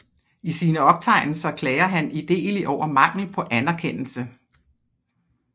I sine optegnelser klager han idelig over mangel på anerkendelse